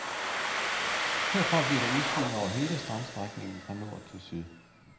Herfra bliver der udsyn over hele strandstrækningen fra syd til nord.